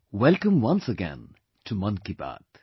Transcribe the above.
Welcome once again to Mann Ki Baat